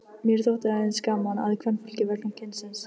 Mér þótti að eins gaman að kvenfólki vegna kynsins.